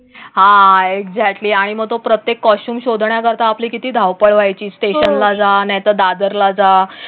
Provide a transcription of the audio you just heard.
हा एक्झॅक्टली आणि मग तो प्रत्येक कॉस्ट्यूम शोधण्याकरता आपली किती धावपळ व्हायची? स्टेशन ला जाणाऱ्या दादरला जा.